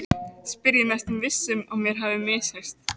spyr ég, næstum viss um mér hafi misheyrst.